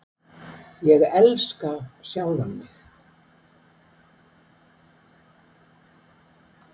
Ég elska sjálfan mig.